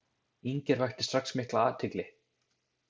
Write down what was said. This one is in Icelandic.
Inger vakti strax mikla athygli.